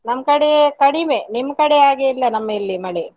ನಮ್ಕಡೆ ಕಡಿಮೆ, ನಿಮ್ಕಡೆಯಾಗೆ ಇಲ್ಲ ನಮ್ಮ ಇಲ್ಲಿ ಮಳೆ.